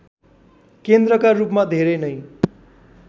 केन्द्रका रूपमा धेरै नै